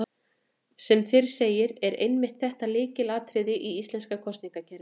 Sem fyrr segir er einmitt þetta lykilatriði í íslenska kosningakerfinu.